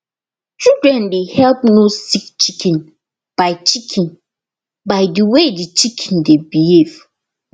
children dey help know sick chicken by chicken by the way the chicken dey behave